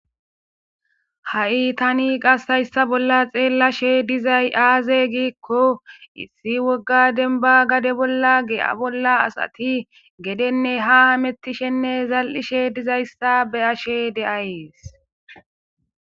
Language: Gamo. Ha'i tani qasayssa bolla xeellashe dizay aaze giikko issi wogga denba gade bolla ge'a bolla asati gedenne ha mettishenne zal'ishe dizayssa be ashe de'ayees.